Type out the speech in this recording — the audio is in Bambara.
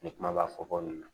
Ni kuma b'a fɔ ko nin na